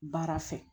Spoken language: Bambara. Baara fɛ